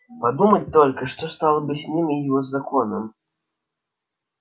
подумать только что стало бы с ним и с его законом